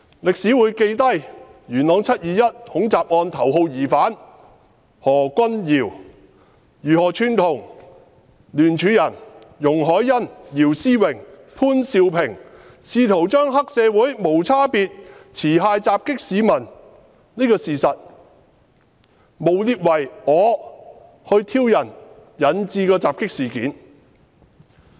歷史會記下元朗"七二一"恐襲案頭號疑犯何君堯議員如何串同聯署人容海恩議員、姚思榮議員及潘兆平議員，試圖將黑社會無差別持械襲擊市民的事實，誣衊為因我挑釁而引致襲擊的事件。